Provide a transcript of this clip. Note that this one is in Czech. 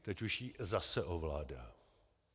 Teď už ji zase ovládá.